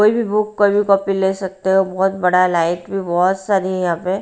कोई भी बुक कोई भी कॉपी ले सकते हो बहुत बड़ा लाइक में बहुत सारी हैं यहाँ पे--